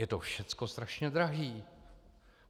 Je to všechno strašně drahé!